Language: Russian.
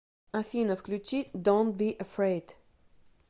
афина включи донт би эфрейд